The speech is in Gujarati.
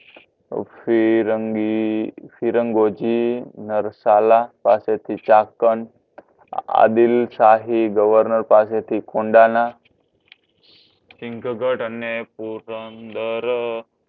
અ ફિરંગી ફિરંગગોહજી એ મરસાલ પસે થી એક આદિલશાહી governor પાસે થી કોણધાન સિંઘગઢ અને પુરંદર